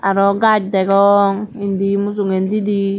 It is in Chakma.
arow gus degong indi mujungedidi.